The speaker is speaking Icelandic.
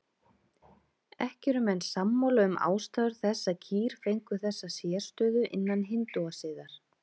Ekki eru menn sammála um ástæður þess að kýr fengu þessa sérstöðu innan hindúasiðar.